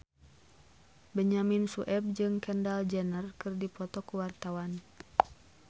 Benyamin Sueb jeung Kendall Jenner keur dipoto ku wartawan